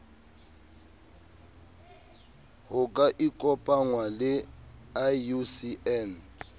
ho ka ikopangwa le iucn